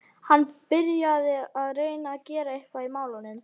Hann byrjaði að reyna að gera eitthvað í málunum.